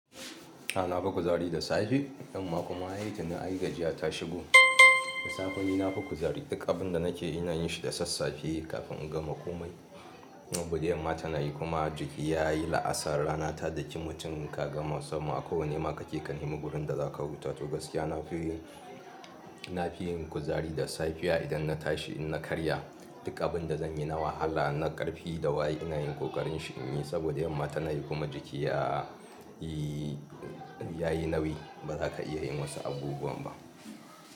A'a na fi kuzari da safe yamma kuma ai tuni ai gajiya ta shigo da safe ni na fi kuzari duk abin da nake ina yin shi da sassafe kafin in gama komai saboda yamma ta nayi kuma jiki yayi la'asar rana ta daki mutum ka gama sama a kowane ma ka ke kan nema wurin da za ka huta to gaskiya na fi yin, na fi yin kuzari da safiya idan na tashi ina karya duk abin da zan yi na wahala na karfi da waye ina yin kokarin shi in yi saboda yamma ta nayi kuma jiki yayi, yayi nauyi ba za ka iya yin wasu abubuwan ba.